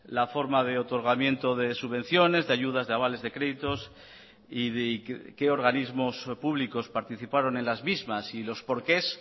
la forma de otorgamiento de subvenciones de ayudas de avales de créditos y qué organismos públicos participaron en las mismas y los por qués